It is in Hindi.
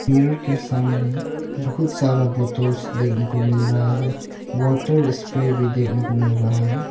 मिरर के सामने बहुत सारा बोतल्स देखने को मिल रहा है वाटर स्प्रे भी देखने को मिल रहा है।